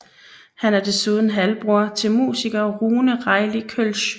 Han er desuden halvbror til musiker Rune Reilly Kølsch